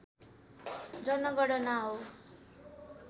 जनगणना हो।